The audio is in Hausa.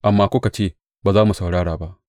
Amma kuka ce, Ba za mu saurara ba.’